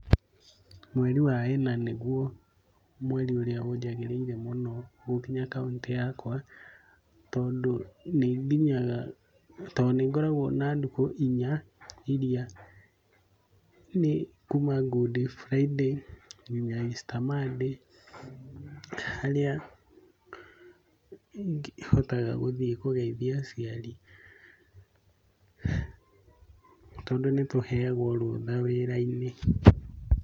Mweri wa ĩna nĩguo mweri ũrĩa ũnjagĩrĩire mũno gũkinya kauntĩ yakwa tondũ nĩnginyaga, tondũ nĩngoragwo na ndukũ inya iria nĩ kuma Good Friday nginya Easter Monday, harĩa hotaga gũthiĩ kũgeithia aciari tondũ nĩtũheagwo rũtha wĩra-inĩ.